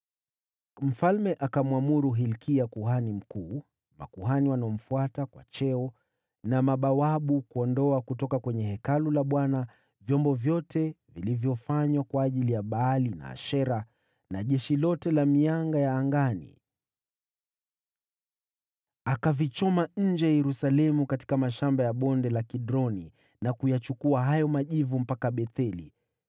Mfalme akamwamuru Hilkia kuhani mkuu, makuhani waliomfuata kwa cheo, na mabawabu kuondoa kutoka kwenye Hekalu la Bwana vyombo vyote vilivyofanywa kwa ajili ya Baali na Ashera na jeshi lote la mianga ya angani! Akavichoma nje ya Yerusalemu katika mashamba ya Bonde la Kidroni, na kuyachukua hayo majivu mpaka Betheli.